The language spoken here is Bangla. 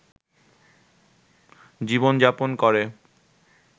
জীবনযাপন করে